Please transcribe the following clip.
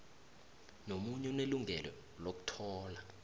nomunye unelungelo lokuthola